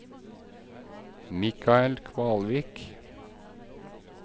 Michael Kvalvik